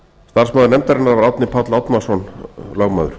starfsmaður nefndarinnar var árni páll árnason lögmaður